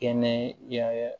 Kɛnɛ yaa